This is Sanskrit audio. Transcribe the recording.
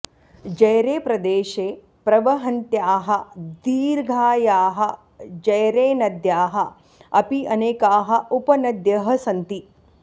जैरेप्रदेशे प्रवहन्त्याः दीर्घायाः जैरेनद्याः अपि अनेकाः उपनद्यः सन्ति